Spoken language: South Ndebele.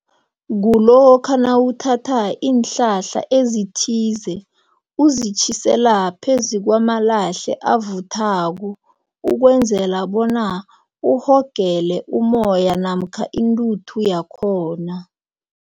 Kulokha nawuthatha iinhlahla ezithize, uzitjhisela phezu kwamalahle avuthaka ukwenzela bona uhogele umoya namkha intuthu yakhona.